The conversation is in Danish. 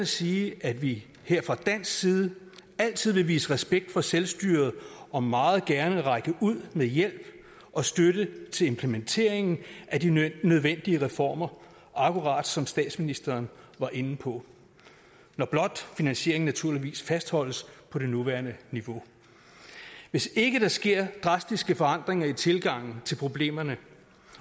sige at vi her fra dansk side altid vil vise respekt for selvstyret og meget gerne række ud med hjælp og støtte til implementeringen af de nødvendige reformer akkurat som statsministeren var inde på når blot finansieringen fastholdes på det nuværende niveau hvis ikke der sker drastiske forandringer i tilgangen til problemerne